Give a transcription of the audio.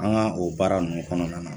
An ka o baara ninnu kɔnɔna na.